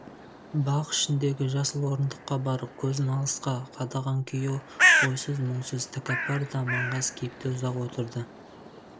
бақ ішіндегі жасыл орындыққа барып көзін алысқа қадаған күйі ойсыз-мұңсыз тәкаппар да маңғаз кейіпте ұзақ отырды